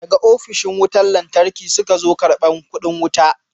Daga ofishin wutar lantarki suka zo karbar kudi wuta.